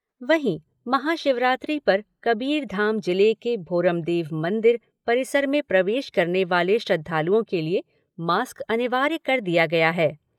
वहीं, महाशिवरात्रि पर कबीरधाम जिले के भोरमदेव मंदिर परिसर में प्रवेश करने वाले श्रद्धालुओं के लिए मास्क अनिवार्य कर दिया गया है।